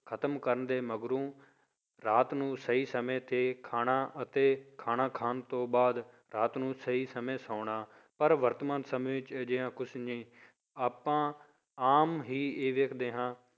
ਖਤਮ ਕਰਨ ਦੇ ਮਗਰੋਂ ਰਾਤ ਨੂੰ ਸਹੀ ਸਮੇਂ ਤੇ ਖਾਣਾ ਅਤੇ ਖਾਣਾ ਖਾਣ ਤੋਂ ਬਾਅਦ ਰਾਤ ਨੂੰ ਸਹੀ ਸਮੇਂ ਸੌਣਾ, ਪਰ ਵਰਤਮਾਨ ਸਮੇਂ ਵਿੱਚ ਅਜਿਹਾ ਕੁਛ ਨਹੀਂ ਆਪਾਂ ਆਮ ਹੀ ਇਹ ਵੇਖਦੇ ਹਾਂ